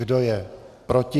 Kdo je proti?